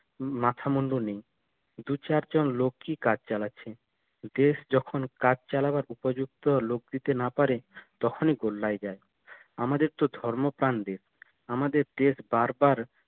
মাথা মুণ্ডু নেই দু চারজন লোকই কাজ চালাচ্ছে দেশ যখন কাজ চালাবার উপযুক্ত লোক দিতে না পারে তখনই গোল্লায় যায়